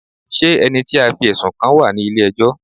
Ṣé ẹni tí a fí ẹ̀sùn kàn wá ní ilé ẹjọ́?